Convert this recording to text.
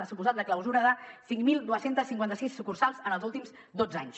ha suposat la clausura de cinc mil dos cents i cinquanta sis sucursals en els últims dotze anys